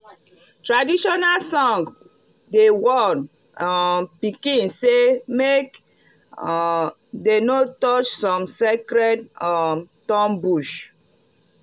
traditional songs dey warn um pikin say make um dem no touch some sacred um thorn bush.